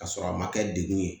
K'a sɔrɔ a ma kɛ degun ye